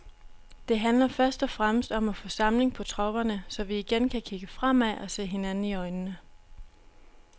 Det handler først og fremmest om at få samling på tropperne, så vi igen kan kigge fremad og se hinanden i øjnene.